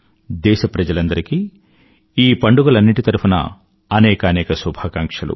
దేశప్రజలందరికీ ఈ పండుగలన్నింటి తరఫునా అనేకానేక శుభాకాంక్షలు